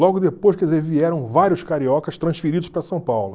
Logo depois, quer dizer, vieram vários cariocas transferidos para São Paulo.